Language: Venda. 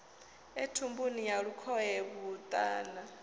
e thumbuni ya lukhohe vhuṱama